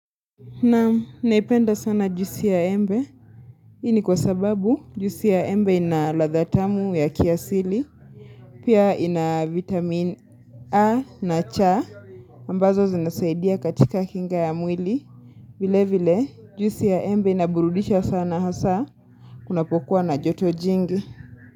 Na naipenda sana juisi ya embe. Hii ni kwa sababu, juisi ya embe inaladha tamu ya kiasili. Pia ina vitamin A na cha. Ambazo zinasaidia katika kinga ya mwili. Vile vile, juisi ya embe inaburudisha sana hasa. Kunapokuwa na joto jingi.